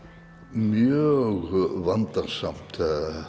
mjög vandasamt